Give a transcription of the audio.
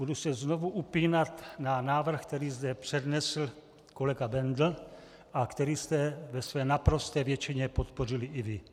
Budu se znovu upínat na návrh, který zde přednesl kolega Bendl a který jste ve své naprosté většině podpořili i vy.